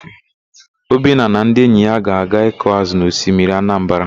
Obinna na ndị enyi ya ga-aga ịkụ ázụ̀ na osimiri Anambara.